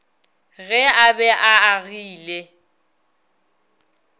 ge a be a agile